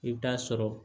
I bɛ taa sɔrɔ